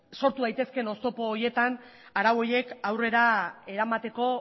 sortu daitezkeen oztopo horietan arau horiek aurrera eramateko